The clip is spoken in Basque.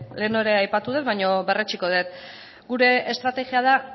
lehen ere aipatu dut baina berretsiko dut gure estrategia da